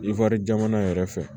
I wari jamana yɛrɛ fɛ